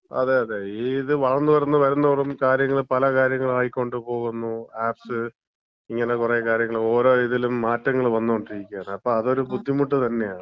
അതെ. അതെ. ഇത് വളർന്ന് വളർന്ന് വരുംതോറും കാര്യങ്ങൾ പല കാര്യങ്ങളായികൊണ്ട് പോകുന്നു. ആപ്സ് ഇങ്ങനെ പല കാര്യങ്ങൾ, ഓരോ ഇതിലും മാറ്റങ്ങൾ വന്നോണ്ടിരിക്കാണ്. അപ്പം അതൊരു ബുദ്ധിമുട്ട് തന്നെയാണ്.